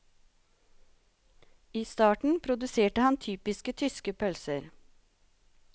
I starten produserte han typiske tyske pølser.